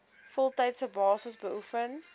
voltydse basis beoefen